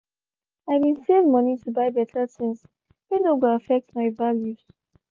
i bin save money to buy better things whey no go affect my values